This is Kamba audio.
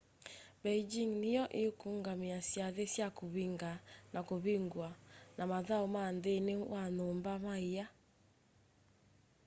beijing nĩyo ĩkũũngamĩa syathĩ sya kũvĩnga na kũvĩngũa na mathaũ ma nthĩnĩ wa nyũmba ma ĩa